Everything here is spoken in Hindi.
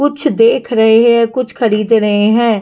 कुछ देख रहे हैं कुछ खरीद रहे हैं।